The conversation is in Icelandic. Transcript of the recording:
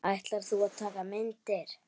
Ætlar þú að taka myndir?